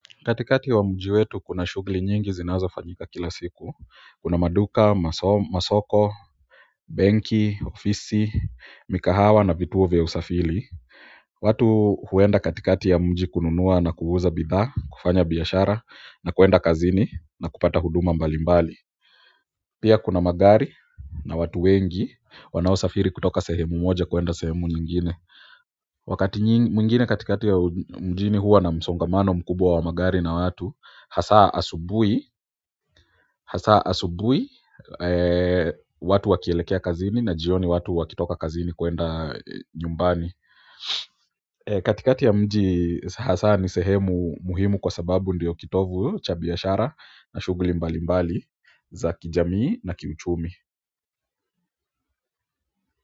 Katikati wa mji wetu kuna shughuli nyingi zinazofanyika kila siku, kuna maduka, masoko, benki, ofisi, mikahawa na vituo vya usafiri watu huenda kati kati ya mji kununua na kuuza bidhaa kufanya biashara na kwenda kazini na kupata huduma mbali mbali pia kuna magari na watu wengi wanao safiri kutoka sehemu moja kwenda sehemu nyingine wakati mwingine katikati ya mjini huwa na msongamano mkubwa wa magari na watu hasa asubuhi watu wakielekea kazini na jioni watu wakitoka kazini kwenda nyumbani katikati ya mji hasaa ni sehemu muhimu kwa sababu ndiyo kitovu cha biashara cha shughuli mbali mbali za kijamii na kiuchumi.